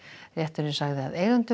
rétturinn sagði að eigendum